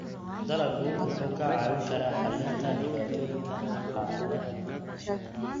Dalaggu wuxuu kaa caawin karaa xallinta dhibaatooyinka dhaqaale.